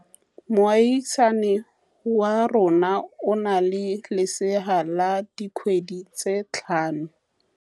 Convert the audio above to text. Moagisane wa rona o na le lesea la dikgwedi tse tlhano.